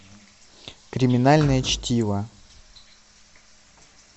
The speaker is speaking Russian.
криминальное чтиво